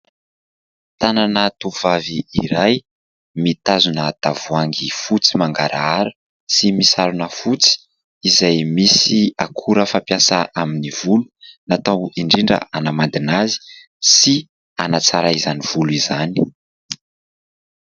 Tanana tovovavy iray mitazona tavoahangy fotsy mangarahara sy misarona fotsy izay misy akora fampiasa amin'ny volo, natao indrindra hanamandina azy sy hanatsara izany volo izany.